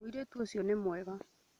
Mũirĩtu ũcio nĩ mwega